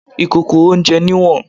Ìkòkò oúnjẹ ní ìwọ̀n.